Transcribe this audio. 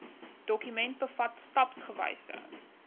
dokument bevat stapsgewyse